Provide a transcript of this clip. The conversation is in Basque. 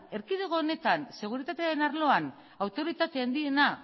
erkidego honetan seguritatearen arloan autoritate handiena